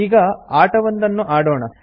ಈಗ ಆಟವೊಂದನ್ನು ಆಡೋಣ